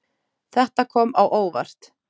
Þetta kom á óvart.